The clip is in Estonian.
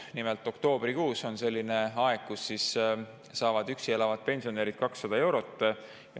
Nimelt on oktoobrikuus selline aeg, kui üksi elavad pensionärid saavad 200 eurot.